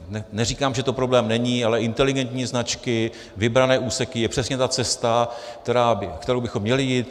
Neříkám, že to problém není, ale inteligentní značky, vybrané úseky je přesně ta cesta, kterou bychom měli jít.